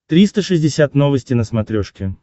триста шестьдесят новости на смотрешке